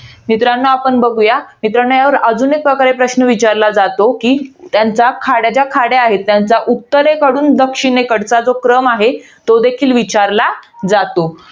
मित्रांनो, आपण बघूया. मित्रांनो यावर अजून एक प्रकारे प्रश्न विचारला जातो, कि खाड्या, ज्या खाड्या आहेत. त्याचा उत्तरेकडून दक्षिणेकडचा जो क्रम आहे. तो देखील विचारला जातो.